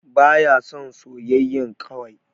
Ba ya son soyayyan kwai.